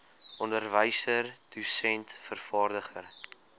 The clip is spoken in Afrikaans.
onderwyser dosent vervaardiger